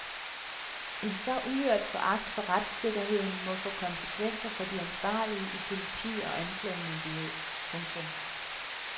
En så uhørt foragt for retssikkerheden må få konsekvenser for de ansvarlige i politi og anklagemyndighed. punktum